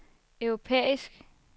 europæisk